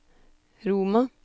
Roma